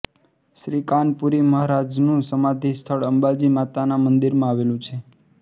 શ્રી કાનપુરી મહારાજનુ સમાધિ સ્થળ અંબાજી માતાના મંદિરમાં આવેલુ છે